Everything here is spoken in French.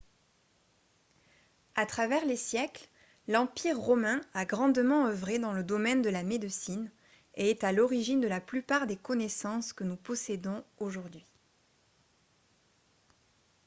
à travers les siècles l'empire romain a grandement œuvré dans le domaine de la médecine et est à l'origine de la plupart des connaissances que nous possédons aujourd'hui